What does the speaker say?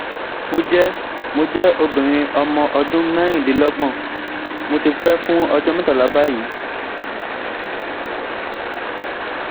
Mo jẹ́ Mo jẹ́ obìnrin ọmọ ọdún merindinlogbon, mo ti pẹ́ fún ọjọ́ metala báyìí